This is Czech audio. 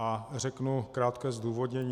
A řeknu krátké zdůvodnění.